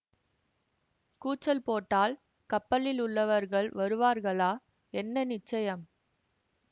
கூச்சல் போட்டால் கப்பலில் உள்ளவர்கள் வருவார்களா என்ன நிச்சயம்